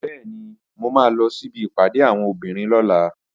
Bẹ́ẹ̀ni, mo máa lọ síbi ìpàdé àwọn obìnrin lọ́la